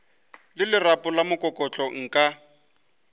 le lerapo la mokokotlo nka